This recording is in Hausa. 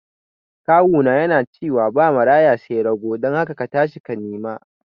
kawuna yana ciwa babu Maraya sai rago dun haka katashi ka nima